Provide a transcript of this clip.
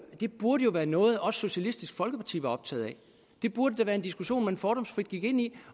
det burde jo være noget også socialistisk folkeparti var optaget af det burde da være en diskussion man fordomsfrit gik ind i